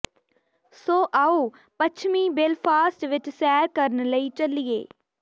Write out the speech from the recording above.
ਸੋ ਆਓ ਪੱਛਮੀ ਬੇਲਫਾਸਟ ਵਿੱਚ ਸੈਰ ਕਰਨ ਲਈ ਚੱਲੀਏ